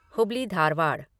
Hubli Dharwad